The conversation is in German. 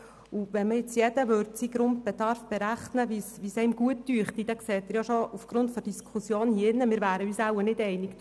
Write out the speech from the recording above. Würde jetzt jeder seinen Grundbedarf berechnen, wie er ihn für angemessen hält, wären wir uns hier im Saal nicht einig.